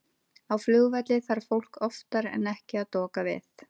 Á flugvelli þarf fólk oftar en ekki að doka við.